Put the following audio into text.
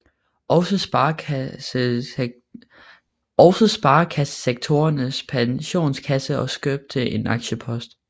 Også Sparekassesektorens Pensionskasse og købte en aktiepost